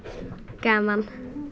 gaman